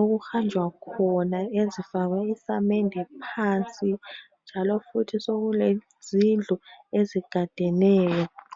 okuhanjwa khona ezifakwe isamende phansi njalo futhi sokule zindlu ezigadeneyo.